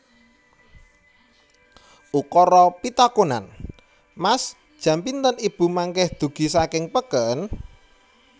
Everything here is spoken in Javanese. Ukara pitakonan Mas jam pinten ibu mangkih dugi saking peken